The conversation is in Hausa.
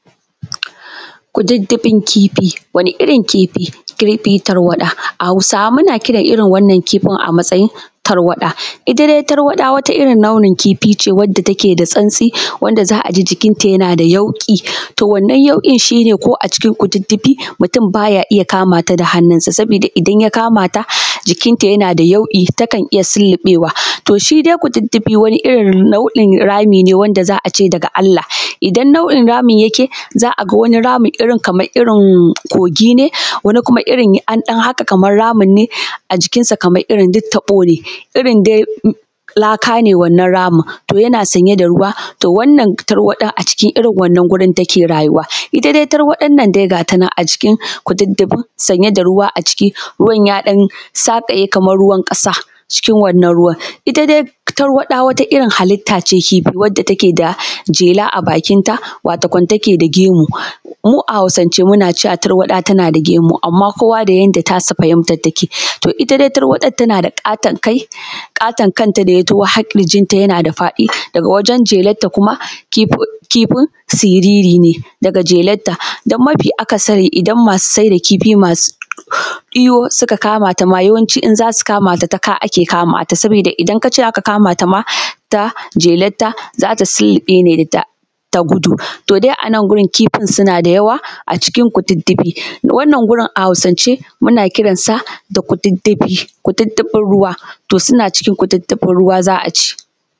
Kudiddifin kifi, wani irin kifi? kifi tarwaɗa, a hausawa muna kiran irin wannan kifin a matsayin tarwaɗa, ita dai tarwaɗa wani irin launin kifi ce, wacce take da sansti da za aji jikin ta yana da yauƙi, to wannan yauƙin shine ko a cikin kudiddifi mutum baya iya kamata da hannu sa, sabida idan ya kama ta jikin ta yana da yauƙi takan iya sulluɓewa. To shidai kudiddifi wani irin rami ne wanda za ace daga Allah, idan nau’in ramin yake, za a ga wani ramin irin kogi ne, wani kuma irin an ɗan haƙa kaman ramin ne a jikin sa, kamar irin duk taɓo ne, irin dai laka ne wannan ramin, to yana sanye da ruwa. To wannan tarwaɗa a cikin irin wannan gurin take rayuwa, to ita dai tarwaɗan nan gata nan acikin kudiddifin sanye da ruwa a ciki, ruwan yaɗan saƙaye kamar ruwan ƙasa. Ita dai tarwaɗa wata irin halitta ce, wacce take da jela a bakinta, wato kam take da gemu. Mu a hausance mukan ce tarwaɗa tana da gemu, amman kowa da yanayin yadda tasa fahimtar take, to ita dai tarwaɗar tana da ƙaton kai, ƙaton kanta daya taho har ƙirjin ta yana da faɗi daga wajen jelar ta kuma kifin siriri ne, daga jelar ta don mafi akasari idan masu saida kifi masu iyo suka kamata ma, yawancin zasu kamata ta ka ake kamata saboda idan kace zaka kamata ma ta jelar ta, zata sulluɓe ne ta gudu, to dai anan gurin kifin suna da yawa acikin kudiddifi, wannan a hausance ana kiran sa da kudiddifi, kudiddifin ruwa.